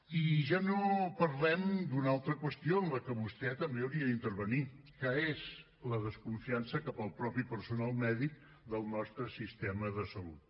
i ja no parlem d’una altra qüestió en la que vostè també hauria d’intervenir que és la desconfiança cap al mateix personal mèdic del nostre sistema de salut